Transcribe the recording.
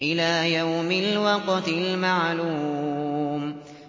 إِلَىٰ يَوْمِ الْوَقْتِ الْمَعْلُومِ